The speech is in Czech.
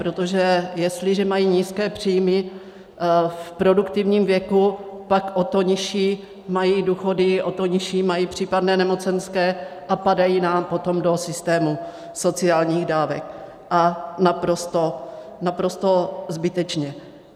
Protože jestliže mají nízké příjmy v produktivním věku, pak o to nižší mají důchody, o to nižší mají případné nemocenské a padají nám potom do systému sociálních dávek, a naprosto zbytečně.